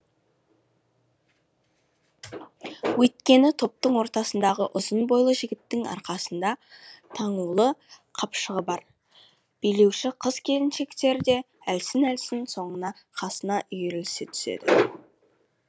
өйткені топтың ортасындағы ұзын бойлы жігіттің арқасында таңулы қапшығы бар билеуші қыз келіншектер де әлсін әлсін соның қасына үйірілісе түседі